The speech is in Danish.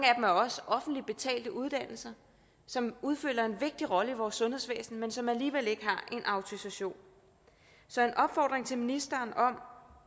er også offentligt betalte uddannelser som udfylder en vigtig rolle i vores sundhedsvæsen men som alligevel ikke har en autorisation så en opfordring til ministeren om